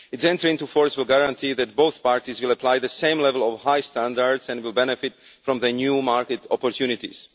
Its entry into force will guarantee that both parties will apply the same level of high standards and will benefit from the new market opportunities.